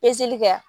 kɛ